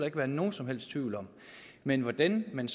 ikke være nogen som helst tvivl om men hvordan man